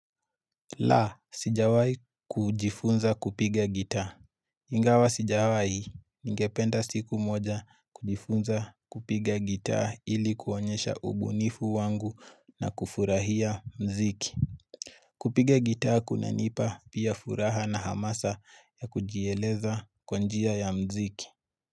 La, sijawai kujifunza kupiga gitaa. Ingawa sijawai. Ningependa siku moja kujifunza kupiga gitaa ili kuonyesha ubunifu wangu na kufurahia mziki. Kupiga gitaa kunanipa pia furaha na hamasa ya kujieleza kwa njia ya mziki.